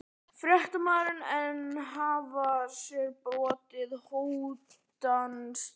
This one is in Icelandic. Fréttamaður: En hafa þér borist hótanir?